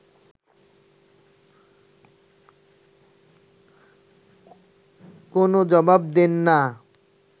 কোনও জবাব দেন না